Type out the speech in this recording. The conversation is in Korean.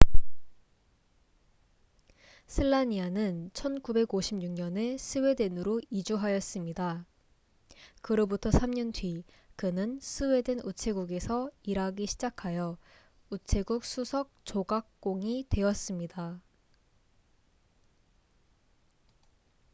슬라니아는 1956년에 스웨덴으로 이주하였습니다 그로부터 3년 뒤 그는 스웨덴 우체국에서 일하기 시작하여 우체국 수석 조각공이 되었습니다